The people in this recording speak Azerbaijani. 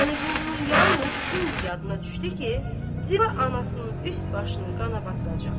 Vəliqulunun yalnız indi yadına düşdü ki, Ziba anasının üst başını qana batıracaq.